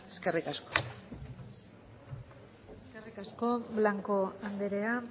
eskerrik asko eskerrik asko blanco andrea